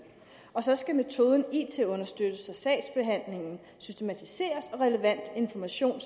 og så skal metoden it understøttes sagsbehandlingen systematiseres og relevant information